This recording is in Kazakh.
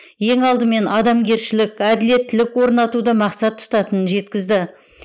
ең алдымен адамгершілік әділеттілік орнатуды мақсат тұтатынын жеткізді